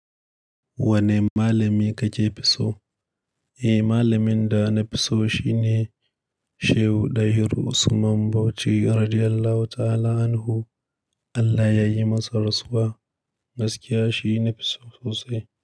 Wane malami kake fi so? Eh, malamin da na fi so shine Shehu Dahiru Usman Bauchi radiallahu ta'ala anhu. Allah ya yi masa rasuwa. Gaskiya shi nafi so sosai.